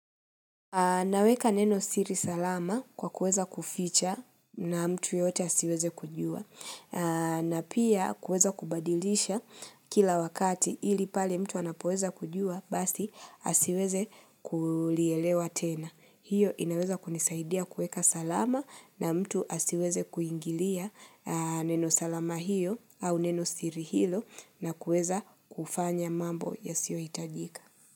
Naweka neno siri salama kwa kuweza kuficha na mtu yote asiweze kujua na pia kuweza kubadilisha kila wakati ili pale mtu anapoweza kujua basi asiweze kuulielewa tena. Hiyo inaweza kunisaidia kuweka salama na mtu asiweze kuingilia neno salama hiyo au neno siri hilo na kuweza kufanya mambo ya sio hitajika.